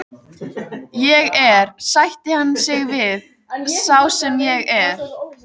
Ég er, sætti hann sig við, sá sem ég er.